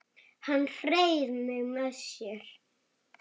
Hann hreif mig með sér.